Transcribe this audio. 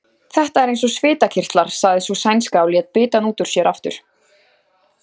Þetta er eins og svitakirtlar, sagði sú sænska og lét bitann út úr sér aftur.